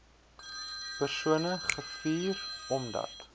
persone gevuur omdat